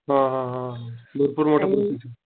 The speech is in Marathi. हा हा हा भरपूर मोठ्या प्रोसिजरेत.